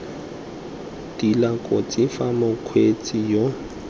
tila kotsi fa mokgweetsi yo